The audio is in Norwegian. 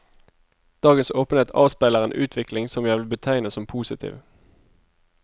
Dagens åpenhet avspeiler en utvikling som jeg vil betegne som positiv.